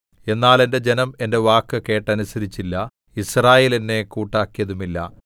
എന്നാൽ എന്റെ ജനം എന്റെ വാക്ക് കേട്ടനുസരിച്ചില്ല യിസ്രായേൽ എന്നെ കൂട്ടാക്കിയതുമില്ല